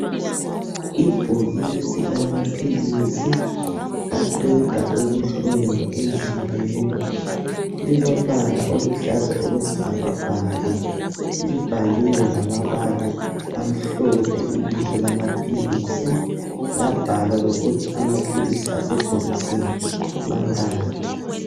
Ibhokisi lamaphilisi aqeda ubuhlungu emzimbeni lilombala oluhlaza okwesibhakabhaka libhaliwe ngamabala amhlophe ibizo lamaphilisi labhalwa lokuthi amaphilisi asebhokisini mangaki.